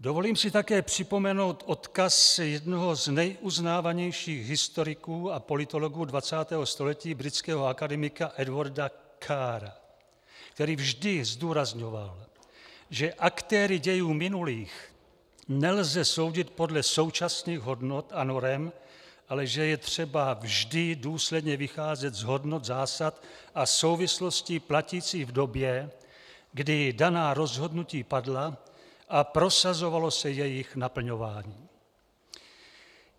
Dovolím si také připomenout odkaz jednoho z nejuznávanějších historiků a politologů 20. století, britského akademika Edwarda Carra, který vždy zdůrazňoval, že aktéry dějů minulých nelze soudit podle současných hodnot a norem, ale že je třeba vždy důsledně vycházet z hodnot, zásad a souvislostí platících v době, kdy daná rozhodnutí padla a prosazovalo se jejich naplňování.